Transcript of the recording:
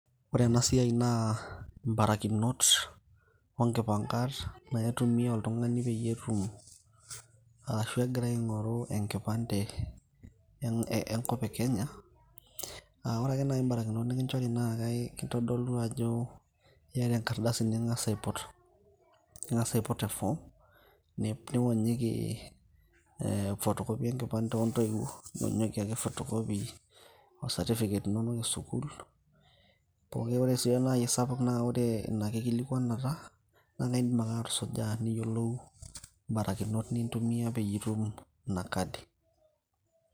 ore ena siai naa imbarakinot onkipang'at na itumia oltung'ani peyie etum arashu egira aing'oru enkipande enkop e kenya uh, ore ake naaji imbarakinot nikinchori na kae kitodolu ajo iyata enkardasi ning'as aiput, ning'as aiput e form niwonyiki eh, photocopy enkipande ontoiwuo niwonyiki ake photocopy o certificate inonok esukul poki ore sii naaji esapuk naa ore ina kikilikuanata naa kaindim ake atusuja niyiolou imbarakinot ni tumia peyie itum ina kadi.